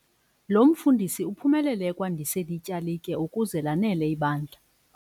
Lo mfundisi uphumelele ekwandiseni ityalike ukuze lanele ibandla.